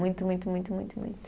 Muito, muito, muito, muito, muito.